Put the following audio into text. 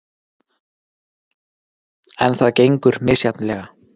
En það gengur misjafnlega.